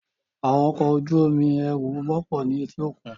Àwọn ọkọ̀ ojú omi ẹrù wọ́pọ̀ ní etíkun.